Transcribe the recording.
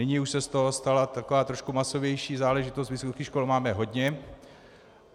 Nyní už se z toho stala taková trochu masovější záležitost, vysokých škol máme hodně.